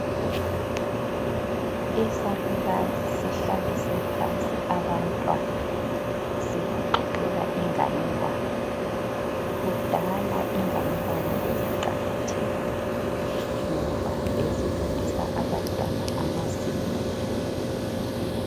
Isalukazi sihlalise phansi abantwana sibaxoxela inganekwane. Kudala inganekwane beziqakathekile ngoba bezifundisa abantwana amasiko.